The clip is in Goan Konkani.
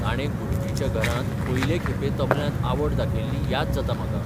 ताणें गुरुजीच्या घरांत पयले खेपें तबल्यांत आवड दाखयिल्ली याद जाता म्हाका.